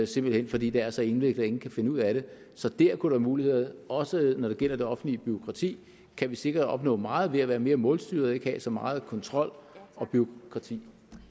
simpelt hen fordi det er så indviklet at ingen kan finde ud af det så der kunne være muligheder også når det gælder det offentlige bureaukrati kan vi sikkert opnå meget ved at være mere målstyrede og ikke have så meget kontrol og bureaukrati